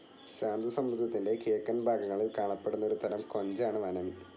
ശാന്തസമുദ്രത്തിൻ്റെ കിഴക്കൻ ഭാഗങ്ങളിൽ കാണപ്പെടുന്ന ഒരു തരം കൊഞ്ചാണ് വനമി.